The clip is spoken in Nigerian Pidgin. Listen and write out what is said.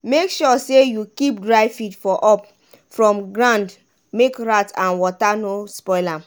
make sure say you keep dry feed for up from grand make rat and wata no spoil am.